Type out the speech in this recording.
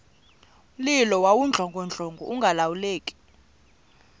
mlilo wawudlongodlongo ungalawuleki